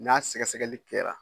N'a sɛgɛsɛgɛli kɛra